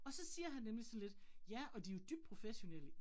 Og så siger han nemlig sådan lidt, ja, og de jo dybt professionelle